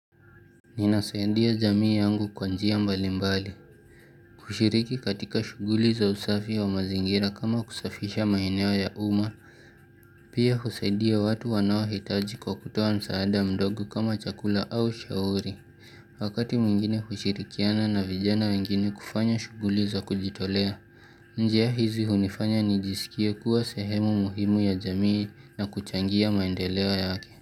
Ninasaidia jamii yangu kwa njia mbali mbali. Kushiriki katika shuguli za usafi wa mazingira kama kusafisha maeneo ya uma, pia kusaidia watu wanao hitaji kwa kutoa msaada mdogo kama chakula au shauri. Wakati mwingine hushirikiana na vijana wengine kufanya shuguli za kujitolea, njia hizi hunifanya ni jisikie kuwa sehemu muhimu ya jamii na kuchangia maendeleo yake.